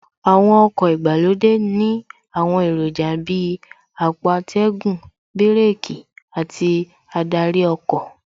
Àwọn ọkọ̀ ìgbàlódé ní àwọn èròjà Bíi àpò atẹ́gùn, bíràkì àti adarí ọkọ̀